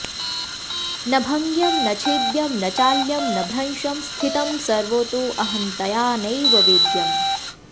न भङ्ग्यं न छेद्यं न चाल्यं न भ्रंशं स्थितं सर्वतोऽहंतया नैव वेद्यम्